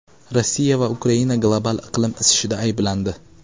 Rossiya va Ukraina global iqlim isishida ayblandi.